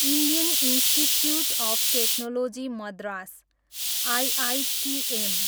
Indian Institute of Technology Madras, IITM